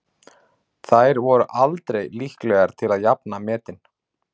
Þær voru aldrei líklegar til að jafna metin.